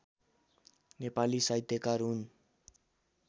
नेपाली साहित्यकार हुन्